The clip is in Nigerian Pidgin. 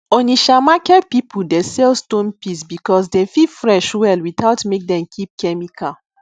onitsha market people dey sell stone peas because dem fit fresh well without make dem keep chemical